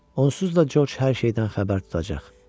Onsuz da Corc hər şeydən xəbər tutacaq.